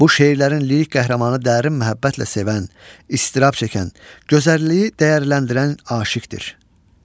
Bu şeirlərin lirik qəhrəmanı dərin məhəbbətlə sevən, istirab çəkən, gözəlliyi dəyərləndirən aşiqdir.